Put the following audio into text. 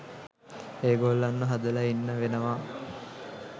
ඒගොල්ලන්ව හදලා ඉන්න වෙනවා